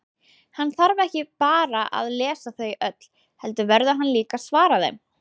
Hann þarf ekki bara að lesa þau öll, heldur verður hann líka að svara þeim.